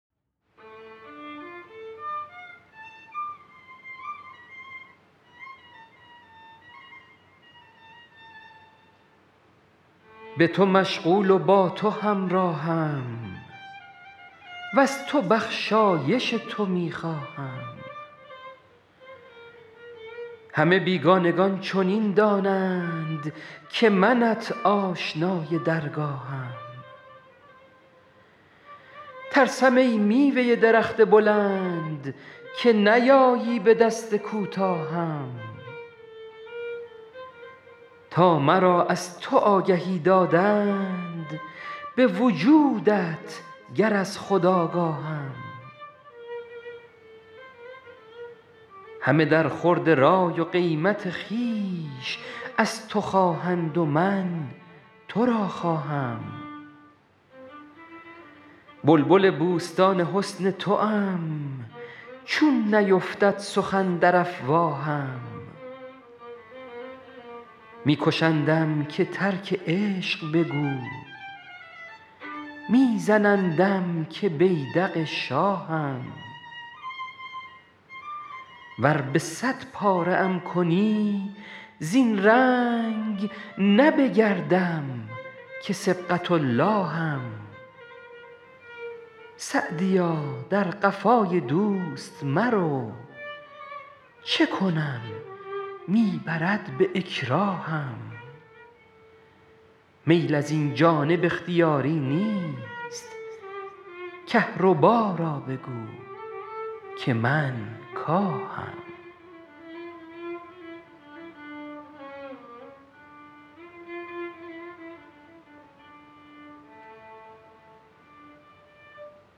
به تو مشغول و با تو همراهم وز تو بخشایش تو می خواهم همه بیگانگان چنین دانند که منت آشنای درگاهم ترسم ای میوه درخت بلند که نیایی به دست کوتاهم تا مرا از تو آگهی دادند به وجودت گر از خود آگاهم همه در خورد رای و قیمت خویش از تو خواهند و من تو را خواهم بلبل بوستان حسن توام چون نیفتد سخن در افواهم می کشندم که ترک عشق بگو می زنندم که بیدق شاهم ور به صد پاره ام کنی زین رنگ نه بگردم که صبغة اللهم سعدیا در قفای دوست مرو چه کنم می برد به اکراهم میل از این جانب اختیاری نیست کهربا را بگو که من کاهم